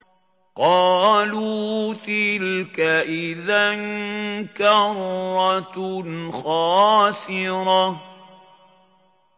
قَالُوا تِلْكَ إِذًا كَرَّةٌ خَاسِرَةٌ